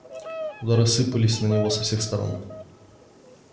удары сыпались на него со всех сторон